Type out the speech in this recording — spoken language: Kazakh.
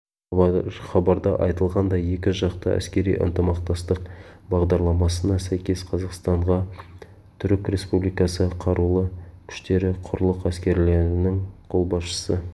хабарда айтылғандай екі жақты әскери ынтымақтастық бағдарламасына сәйкес қазақстанға түрік республикасы қарулы күштері құрлық әскерлерінің қолбасшысы